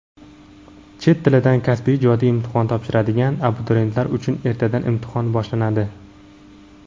Chet tilidan kasbiy (ijodiy) imtihon topshiradigan abituriyentlar uchun ertadan imtihon boshlanadi!.